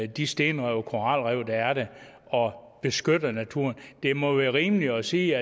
de stenrev og koralrev der er der og beskytter naturen det må være rimeligt at sige